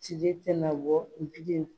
Sili tena bɔ n bilen